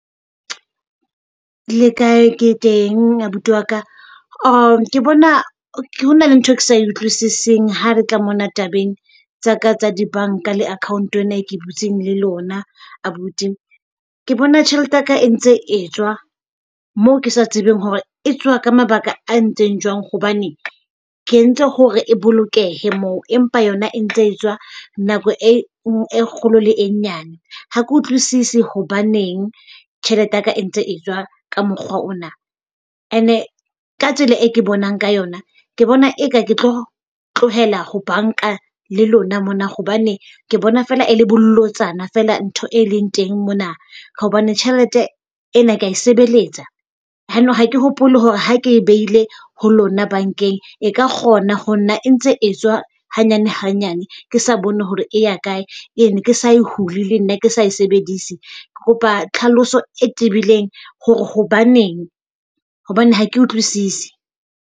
Le kae? Ke teng abuti waka. Ke bona hona le ntho, ke sa e utlwisiseng ha re tla mona tabeng tsa ka tsa dibanka le account-o ena ke e butseng le lona abuti. Ke bona tjhelete yaka e ntse etswa moo ke sa tsebeng hore e tswa ka mabaka a ntseng jwang hobane ke entse hore o bolokehe moo, empa yona e ntse e tswa nako e kgolo le e nyane ha ke utlwisisi. Hobaneng tjhelete yaka e ntse e tswa ka mokgwa ona? And ka tsela e ke bonang ka yona, ke bona eka ke tlo tlohela ho banka le lona mona hobane ke bona fela e le bolotsana fela ntho e leng teng mona. Ka hobane tjhelete ena kea sebeletsa, yanong ha ke hopole hore ha ke e behile ho lona bankeng e ka kgona ho na e ntse e tswa hanyane hanyane ke sa bone hore e ya kae and ke sa e hule le nna ke sa e sebedise. Ke kopa tlhaloso e tebileng hore hobaneng. Hobane ha ke utlwisise.